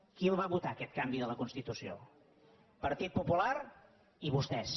qui el va votar aquest canvi de la constitució partit popular i vostès